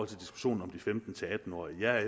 til diskussionen om de femten til atten årige jeg er